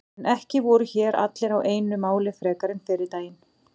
En ekki voru hér allir á einu máli frekar en fyrri daginn.